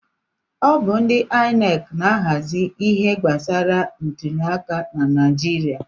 Ọ bụ ndị INEC na-ahazi ihe gbasara ntụli aka na Naijiria.